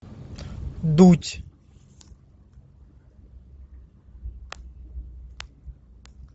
дудь